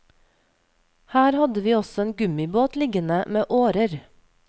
Her hadde vi også en gummibåt liggende med årer.